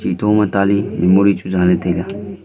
e Thoma taley memory chu zaley taila.